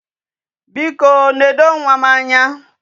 Biko, nedo nwa m anya.